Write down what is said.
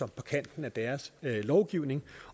på kanten af deres lovgivning